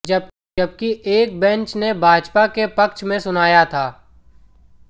जबकि एक बेंच ने भाजपा के पक्ष में सुनाया था